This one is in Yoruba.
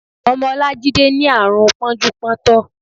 Ọmọ Olajide ni àrùn pọ́njú pọ́ntọ̀.